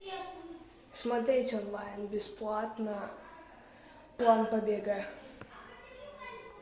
смотреть онлайн бесплатно план побега